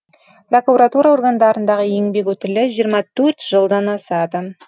прокуратура органдарындағы еңбек өтілі жиырма төрт жылдан асады